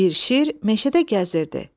Bir şir meşədə gəzirdi.